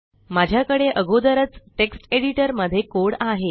माझ्याकडे अगोदरच text editor मध्ये कोड आहे